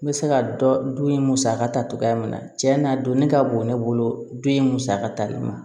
N bɛ se ka dɔ dun musaka ta cogoya min na cɛ na donni ka bon ne bolo don in musaka tali ma